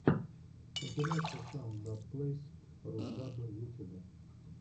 компиляция саунд даб плэйс русдаббэ в ютюбе